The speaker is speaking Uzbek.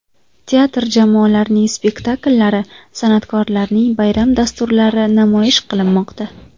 Teatr jamoalarining spektakllari, san’atkorlarning bayram dasturlari namoyish qilinmoqda.